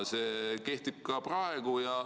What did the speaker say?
See kehtib ka praegu.